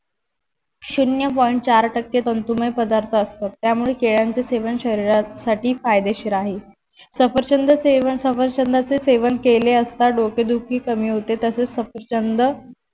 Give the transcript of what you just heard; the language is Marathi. शून्य point चार टक्के तंतुमय पदार्थ असतात त्यामुळे केळ्यांच सेवन शरीरासाथी फायदेशीर आहे सफरचंद सेवन सफरचंदा चे सेवन केले असता डोकेदुखी कमी होते तसेच सफरचंद